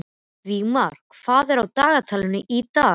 Vígmar, hvað er á dagatalinu í dag?